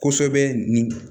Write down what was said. Kosɛbɛ nin